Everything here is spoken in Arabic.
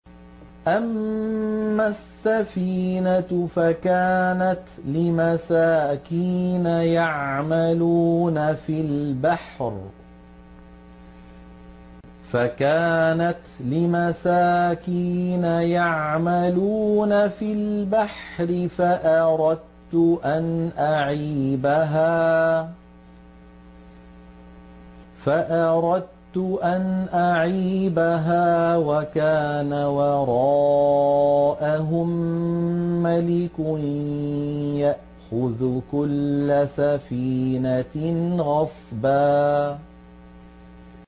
أَمَّا السَّفِينَةُ فَكَانَتْ لِمَسَاكِينَ يَعْمَلُونَ فِي الْبَحْرِ فَأَرَدتُّ أَنْ أَعِيبَهَا وَكَانَ وَرَاءَهُم مَّلِكٌ يَأْخُذُ كُلَّ سَفِينَةٍ غَصْبًا